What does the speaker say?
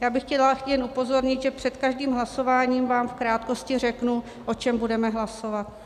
Já bych chtěla jen upozornit, že před každým hlasováním vám v krátkosti řeknu, o čem budeme hlasovat.